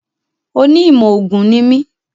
Oní ìmọ̀ ògùn ní mi